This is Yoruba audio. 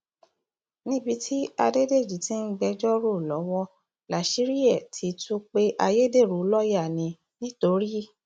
níbi tí adédèjì ti ń gbẹjọ rò lọwọ láṣìírí ẹ ti tú pé ayédèrú lọọyà ní nìtorí